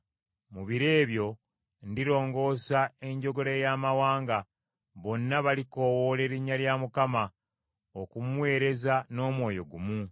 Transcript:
“Mu biro ebyo ndirongoosa enjogera ey’amawanga; bonna balikoowoola erinnya lya Mukama , okumuweereza n’omwoyo gumu.